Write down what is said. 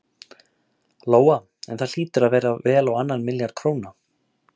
Lóa: En það hlýtur að vera vel á annan milljarð króna?